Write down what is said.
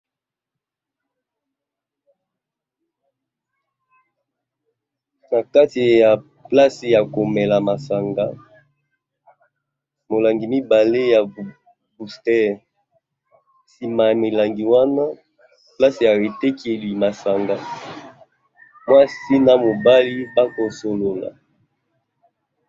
Na kati ya place ya komela masanga, molangi mibale ya bustere. Sima ya milangi wana, place ya etekeli masanga ; mwasi na mobali ba kosolola.